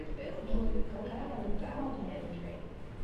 джой какая валюта в молдавии